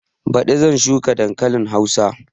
Baɗi zan shuka dankalin hausa